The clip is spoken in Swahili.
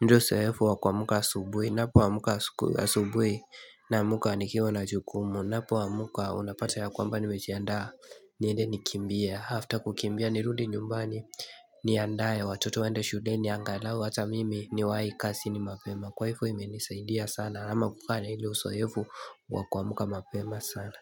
ndo uso hefu wa kwa muka asubui na muka asubwe na muka anikiwa na jukumu na muka unapata ya kwamba ni mejiandaa niende nikimbia after kukimbia nirudi nyumbani ni andaye watoto waende shudeni angalau hata mimi ni waai kasi ni mapema kwa hivyo imenisa india sana ama kukaa na ilo uso hefu wa kwa muka mapema sana.